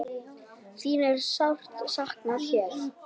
Þín er sárt saknað hér.